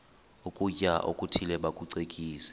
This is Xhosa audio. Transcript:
ukutya okuthile bakucekise